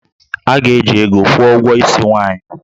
A ga-eji ego kwụọ ụgwọ isi nwaanyị